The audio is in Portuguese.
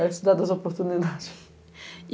É a cidade das oportunidades.